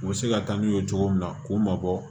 U bɛ se ka taa n'u ye cogo min na k'u mabɔ